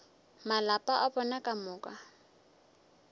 malapa a bona ka moka